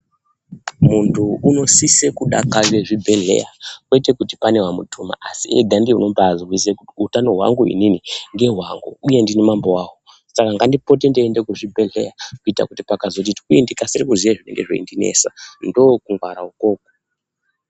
Muntu unosise kudakarire zvibhedhleya kwete kuti pane wamutuma asi ega ndiye anobaazwisisa kuti utano hwangu ini ndehwangu uye ndini mambo wahwo saka ngandipote ndeiende kuzvibhedhleya kuita kuti pakazoti twii ndikasire kuziye zvinenge zvinondinesa. Ndookungwara ukoko.